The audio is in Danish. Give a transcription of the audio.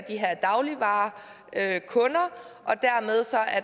at